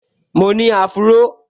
Mo ni áfúró